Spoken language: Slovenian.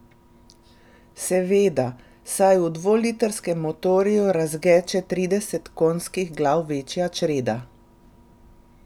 Seveda, saj v dvolitrskem motorju rezgeče trideset konjskih glav večja čreda.